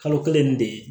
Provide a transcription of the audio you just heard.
Kalo kelen nin de